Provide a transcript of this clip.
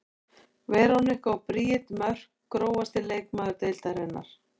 Veronika og Bríet Mörk Grófasti leikmaður deildarinnar?